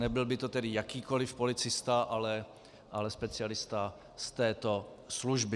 Nebyl by to tedy jakýkoliv policista, ale specialista z této služby.